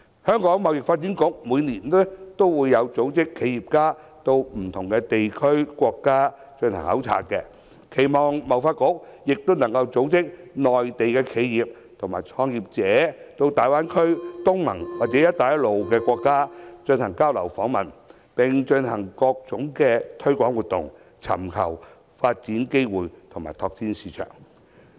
香港貿易發展局每年均會組織企業家到不同的地區和國家進行考察，我期望貿發局也能組織內地企業和創業者到大灣區、東盟或"一帶一路"國家進行交流訪問，並進行各種推廣活動，尋求發展機會及拓展市場。